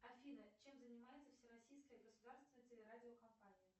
афина чем занимается всероссийская государственная телерадиокомпания